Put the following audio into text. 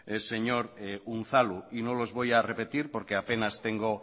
señor unzalu y no los voy a repetir porque a penas